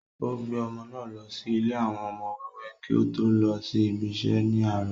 ó gbé ọmọ náà lọ sí ilé àwọn ọmọ wẹ́wẹ́ kí ó tó lọ sí ibi isẹ́ ní àárọ̀